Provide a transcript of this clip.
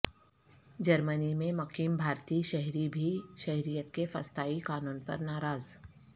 جرمنی میں مقیم بھارتی شہری بھی شہریت کے فسطائی قانون پر ناراض